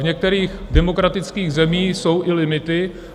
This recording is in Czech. V některých demokratických zemích jsou i limity.